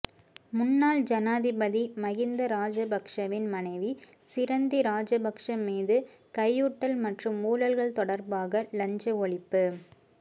முன்னாள் ஜனாதிபதி மகிந்த ராஜபக்சவின் மனைவி சிரந்தி ராஜபக்ச மீது கையூட்டல் மற்றும் ஊழல்கள் தொடர்பாக இலஞ்ச ஒழிப்பு